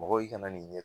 Mɔgɔ i kana n'i ɲɛ